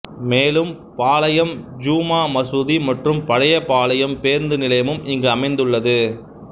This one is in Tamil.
மேலும் பாலயம் ஜுமா மசூதி மற்றும் பழைய பாளையம் பேருந்து நிலையமும் இங்கு அமைந்துள்ளது